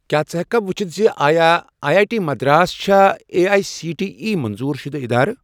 کیٛاہ ژٕ ہیٚککھا وُچھِتھ زِ آیا آی آی ٹی مدراس چھا A I C T E منظور شُدٕ ادارٕ؟